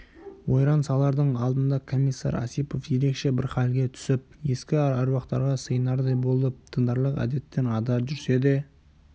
ойран салардың алдында комиссар осипов ерекше бір халге түсіп ескі аруақтарға сыйынардай болып діндарлық әдеттен ада жүрсе де